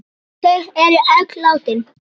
Þau er öll látin.